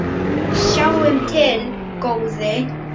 Sjáum til, góði.